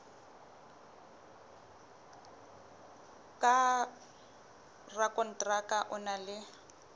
ka rakonteraka o na le